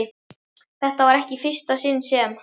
Þetta var ekki í fyrsta sinn sem